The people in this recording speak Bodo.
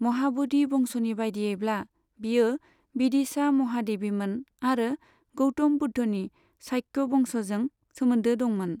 महाब'धि बंस'नि बायदियैब्ला, बियो विदिशा महादेवीमोन आरो गौतम बुद्धनि शाक्य बंस'जों सोमोनदो दंमोन।